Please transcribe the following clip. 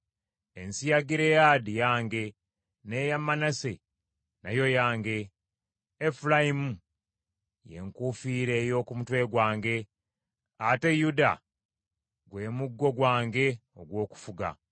Ensi ya Gireyaadi yange, n’eya Manase nayo yange. Efulayimu ye nkufiira ey’oku mutwe gwange; ate Yuda gwe muggo gwange ogw’okufuga.